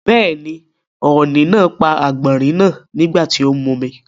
Bẹ́ẹ̀ni, ọ̀ni náà pa àgbọ̀nrín náà nígbà tí ó ń mumi.